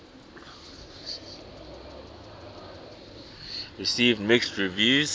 received mixed reviews